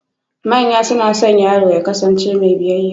Manya suna son yaro ya ƙasance mai biyayya